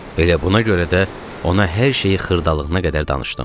Elə buna görə də ona hər şeyi xırdalığına qədər danışdım.